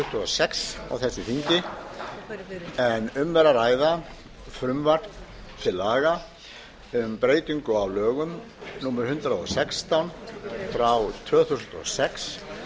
sex á þessu þingi en um er að ræða frumvarp til laga um breytingu á lögum númer hundrað og sextán tvö þúsund og sex